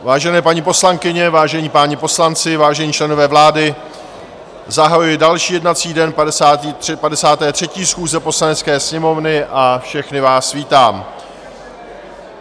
Vážené paní poslankyně, vážení páni poslanci, vážení členové vlády, zahajuji další jednací den 53. schůze Poslanecké sněmovny a všechny vás vítám.